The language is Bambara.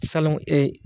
Salon ɛ